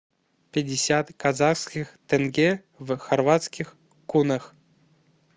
пятьдесят казахских тенге в хорватских кунах